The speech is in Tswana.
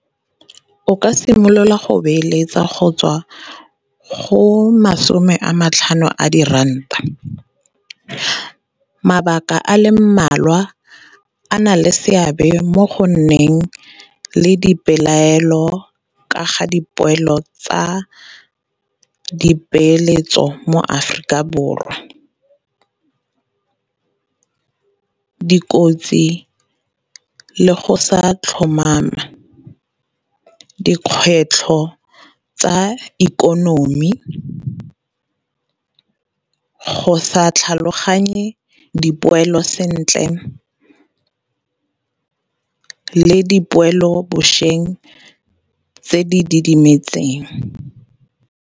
O ka simolola go beeletsa go tswa go masome a matlhano a diranta. Mabaka a le mmalwa a na le seabe mo go nneng le dipelaelo ka ga dipoelo tsa dipeeletso mo Aforika Borwa. Dikotsi le go sa tlhomama, dikgwetlho tsa ikonomi, go sa tlhaloganye dipoelo sentle, le dipoelong bošweng tse di didimetseng.